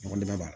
Ɲɔgɔndan ban